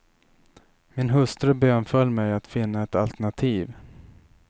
Min hustru bönföll mig att finna ett alternativ.